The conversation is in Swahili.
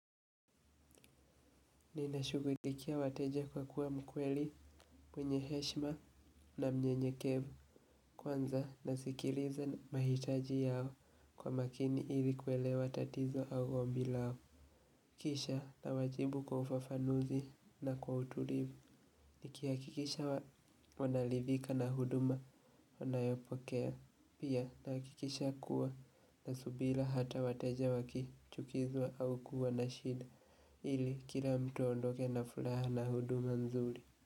Nina shugulikia wateja kwa kuwa mkweli mwenye heshima na mnyenyekevu kwanza na sikiliza mahitaji yao kwa makini ili kuelewa tatizo au ombi lao kisha na wajibu kwa ufafanuzi na kwa utulivu niki hakikisha wanaridhika na huduma wanayopokea. Pia na hakikisha kuwa na subira hata wateja wakichukizwa au kuwa na shida ili kila mtu aondoke na furaha na huduma mzuri.